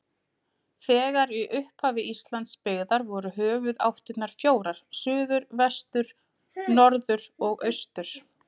Þegar í upphafi Íslands byggðar voru höfuðáttirnar fjórar: suður, vestur, norður og austur.